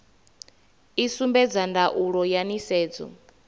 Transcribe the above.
i sumbedza ndaulo ya nisedzo